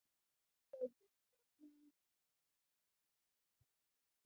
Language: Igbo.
Kedu mgbe mmelite Fesbuk ọhụrụ na-apụta?